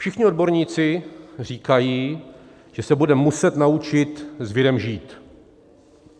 Všichni odborníci říkají, že se budeme muset naučit s virem žít.